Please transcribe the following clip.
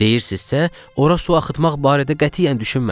Deyirsinizsə, ora su axıtmaq barədə qətiyyən düşünmədim.